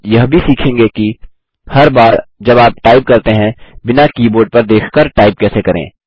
आप यह भी सीखेंगे कि हर बार जब आप टाइप करते हैं बिना कीबोर्ड पर देख कर टाइप कैसे करें